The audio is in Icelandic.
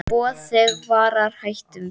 Boð þig varar hættum við.